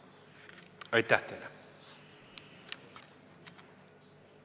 Aitäh teile!